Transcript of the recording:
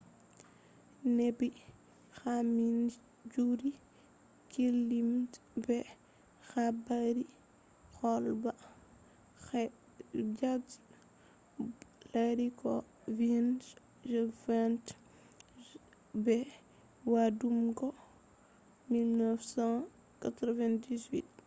neɓi kamin fijirde kullum be habaru kolbat hek be jonson lari ko vindata je vointa habaruji man –be waddugo habaru—wakkati beɗo janga ha uw nduɓu 1988